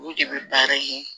Olu de bɛ baara kɛ